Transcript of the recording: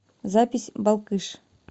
запись балкыш